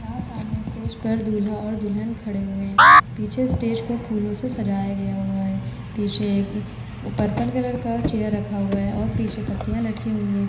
यहाँ सामने स्टेज पर दूल्हा और दुल्हन खड़े हुए हैं। पीछे स्टेज को फूलों से सजाया गया हुआ है। पीछे एक पर्पल कलर का चेयर रखा हुआ है और पीछे पत्तियां लटकी हुई हैं।